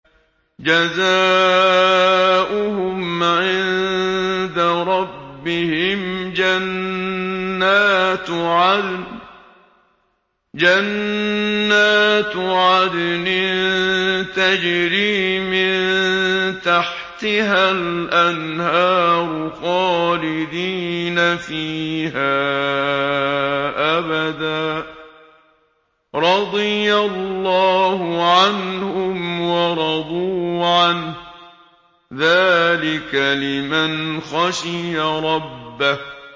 جَزَاؤُهُمْ عِندَ رَبِّهِمْ جَنَّاتُ عَدْنٍ تَجْرِي مِن تَحْتِهَا الْأَنْهَارُ خَالِدِينَ فِيهَا أَبَدًا ۖ رَّضِيَ اللَّهُ عَنْهُمْ وَرَضُوا عَنْهُ ۚ ذَٰلِكَ لِمَنْ خَشِيَ رَبَّهُ